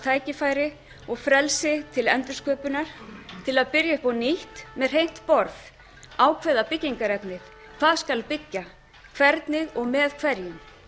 tækifæri og frelsi til endursköpunar til að byrja upp á nýtt með hreint borð ákveða byggingarefnið hvað skal byggja hvernig og með hverjum